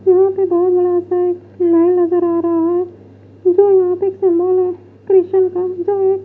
यहां पे बहुत बड़ा सा एक लाइन नजर आ रहा है जो यहां पे एक सिंबल है क्रिश्चियन एक--